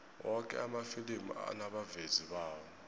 woke amafilimi anabavezi bawo